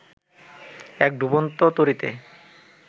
এক ডুবন্ত তরীতে